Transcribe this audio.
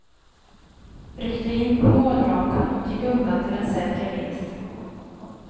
Ryckte in på målrakan och gick undan till en säker vinst.